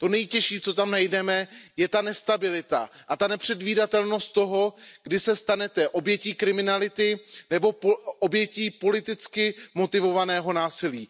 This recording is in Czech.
To nejtěžší, co tam najdeme, je ta nestabilita a nepředvídatelnost toho, kdy se stanete obětí kriminality nebo obětí politicky motivovaného násilí.